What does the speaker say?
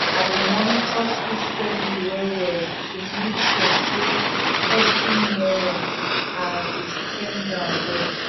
i dey monitor school spending well-well to make sure say every naira i oudey spent well.